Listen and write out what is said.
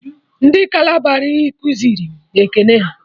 Ndị kalabari kuziri m ekene ha